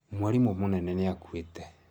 Mwarimũ mũnene nĩ akuĩte